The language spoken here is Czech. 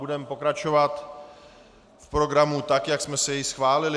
Budeme pokračovat v programu, tak jak jsme si jej schválili.